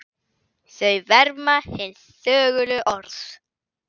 Þau verma hin þögulu orð.